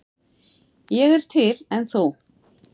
Ég er til, en þú?